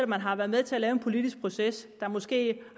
man har været med til at lave en politisk proces der måske